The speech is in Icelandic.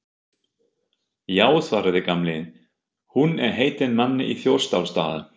Já svaraði Gamli, hún er heitin manni í Þjórsárdal